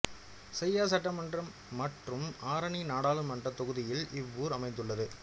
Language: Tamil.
செய்யார் சட்டமன்றம் மற்றும் ஆரணி நாடாளுமன்ற தொகுதியில் இவ்வூர் அமைந்துள்ளது